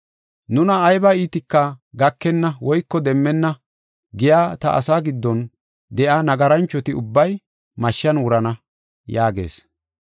‘Nuna ayba iitika gakenna woyko demmenna’ giya ta asaa giddon de7iya nagaranchoti ubbay mashshan wurana” yaagees.